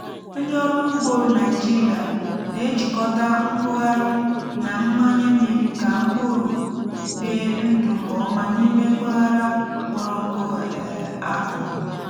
ndị ọrụ ugbo naijiria na-ejikọta ikughari na mmanye mmiri ka mkpụrụ bie ndụ nke ọma n’ime mpaghara kpọrọ nkụ um a kọrọ.